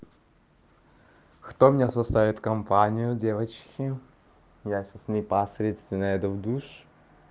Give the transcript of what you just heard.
кто мне составит компанию девочки я сейчас непосредственно иду в душ